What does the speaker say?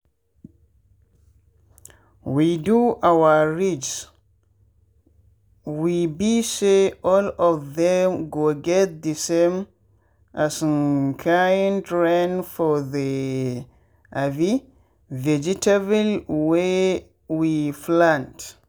we do our ridges we be say all of them go get the same um kind rain for the um vegetable wey we plant.